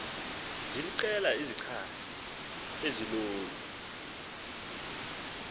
ziliqela izichazi ezilolu